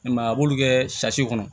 I m'a ye a b'olu kɛ kɔnɔ